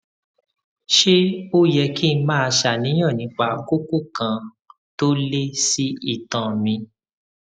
ṣé ó yẹ kí n máa ṣàníyàn nípa kókó kan tó lé sí itan mi